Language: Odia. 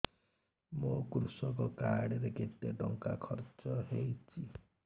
ମୋ କୃଷକ କାର୍ଡ ରେ କେତେ ଟଙ୍କା ଖର୍ଚ୍ଚ ହେଇଚି